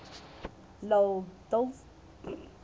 la dolce vita